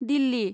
Delhi